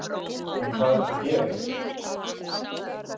En hvað ertu að gera hér?